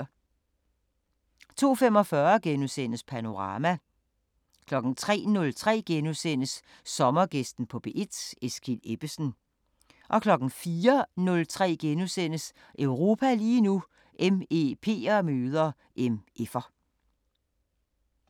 02:45: Panorama * 03:03: Sommergæsten på P1: Eskild Ebbesen * 04:03: Europa lige nu: MEP'er møder MF'er *